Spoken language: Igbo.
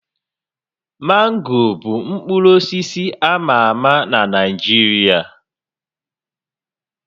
Mango bụ mkpụrụ osisi a ma ama na Naịjirịa